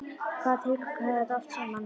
Hvaða tilgang hafði þetta allt saman?